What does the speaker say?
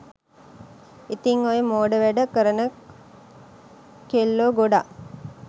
ඉතින් ඔය මෝඩ වැඩ කරන කෙල්ලෝ ගොඩාක්